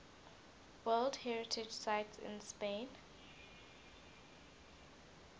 world heritage sites in spain